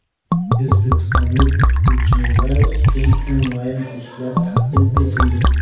O‘zbekistonlik o‘qituvchilar uchun onlayn kurslar taqdim etildi.